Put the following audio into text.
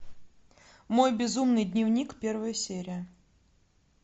мой безумный дневник первая серия